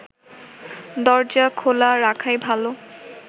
দরজা খোলা রাখাই ভালো